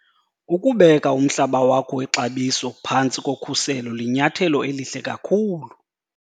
Grabber- Ukubeka umhlaba wakho wexabiso phantsi kokhuselo linyathelo elihle kakhulu!